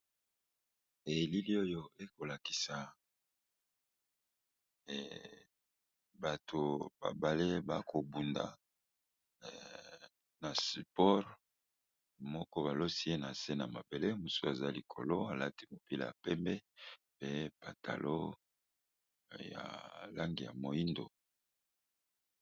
Na bilili oyo bazali kolakisa biso awa, ezali bongo ba ndeko mibali bazali kosala bomesano ya bitumba